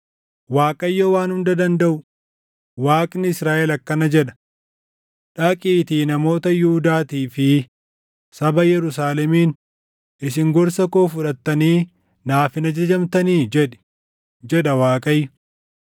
“ Waaqayyo Waan Hunda Dandaʼu, Waaqni Israaʼel akkana jedha: Dhaqiitii namoota Yihuudaatii fi saba Yerusaalemiin ‘Isin gorsa koo fudhattanii naaf hin ajajamtanii?’ jedhi, jedha Waaqayyo.